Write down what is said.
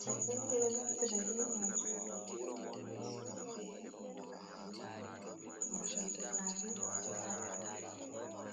Jaɓɓe ni ɓe ɗo naftira be maajum ɓe sofna ɓe harnira gaari, ngam harnugo gaari taa ta’a.